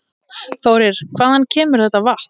Þórir: Hvaðan kemur þetta vatn?